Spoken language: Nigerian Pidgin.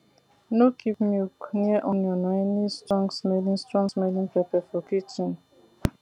no keep milk near onion or any strongsmelling strongsmelling pepper for kitchen